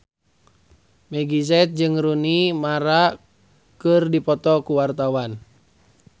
Meggie Z jeung Rooney Mara keur dipoto ku wartawan